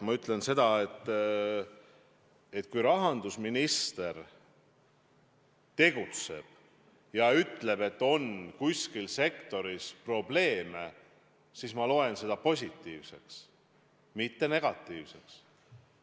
Ma ütlen veel kord seda, et kui rahandusminister tegutseb ja ütleb, et kuskil sektoris on probleeme, siis ma pean seda positiivseks, mitte negatiivseks.